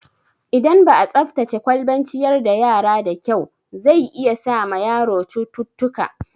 Idan ba'a tsaftace kwalban ciyar da yara da kyau, zai iya sa ma yaro cututtuka